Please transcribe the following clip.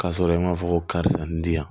K'a sɔrɔ i m'a fɔ ko karisa n di yan